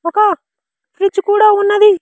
ఒక బ్రిడ్జ్ కూడా ఉన్నది.